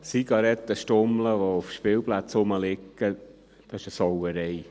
Zigarettenstummel, die auf Spielplätzen herumliegen, sind eine Sauerei.